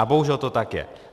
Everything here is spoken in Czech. A bohužel to tak je.